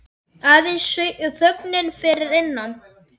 Aðeins þögnin fyrir innan.